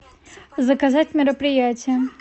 заказать мероприятие